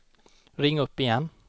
ring upp igen